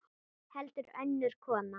Heldur önnur kona.